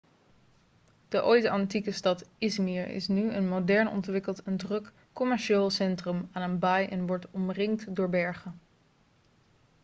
de ooit antieke stad i̇zmir is nu een modern ontwikkeld en druk commercieel centrum aan een baai en wordt omringd door bergen